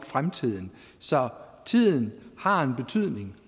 fremtiden så tiden har en betydning